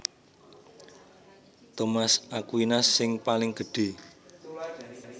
Thomas Aquinas sing paling gedhé